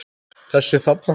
Þessa þarna!